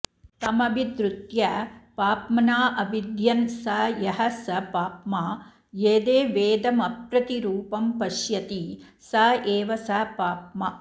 तमभिद्रुत्य पाप्मनाऽविध्यन् स यः स पाप्मा यदेवेदमप्रतिरूपं पश्यति स एव स पाप्मा